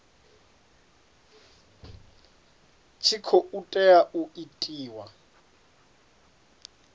tshi khou tea u itiwa